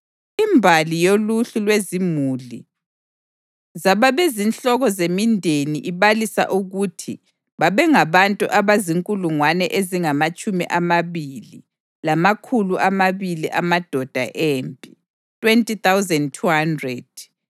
Imbali yoluhlu lwezimuli zababezinhloko zemindeni ibalisa ukuthi babengabantu abazinkulungwane ezingamatshumi amabili lamakhulu amabili amadoda empi (20,200).